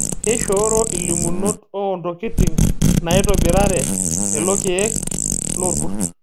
Keishooro ilimunot oo ntokitin naitobirare lelokiek loorkurt.